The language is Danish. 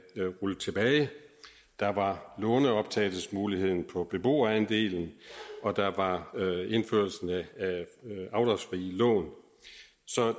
rullet tilbage der var låneoptagelsesmuligheden på beboerandelen og der var indførelsen af afdragsfrie lån